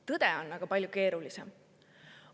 Tõde on aga palju keerulisem.